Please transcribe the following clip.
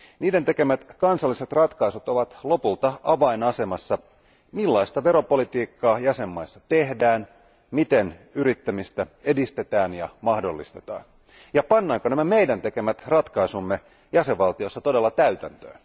Niiden tekemät kansalliset ratkaisut ovat lopulta avainasemassa sen suhteen, millaista veropolitiikkaa jäsenmaissa tehdään, miten yrittämistä edistetään ja mahdollistetaan ja pannaanko meidän tekemämme ratkaisut jäsenvaltioissa todella täytäntöön.